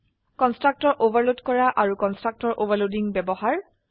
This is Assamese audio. কন্সট্ৰাকটৰ ওভাৰলোড কৰা আৰু কন্সট্ৰাকটৰ ওভাৰলোডিংৰ ব্যবহাৰ